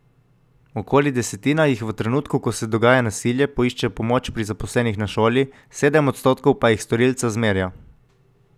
Okoli desetina jih v trenutku, ko se dogaja nasilje, poišče pomoč pri zaposlenih na šoli, sedem odstotkov pa jih storilca zmerja.